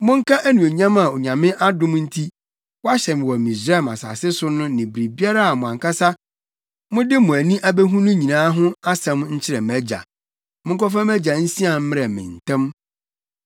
Monka anuonyam a Onyame adom nti, wɔahyɛ me wɔ Misraim asase so ne biribiara a mo ankasa mode mo ani abehu no nyinaa ho asɛm nkyerɛ mʼagya. Monkɔfa mʼagya nsian mmrɛ me ntɛm.”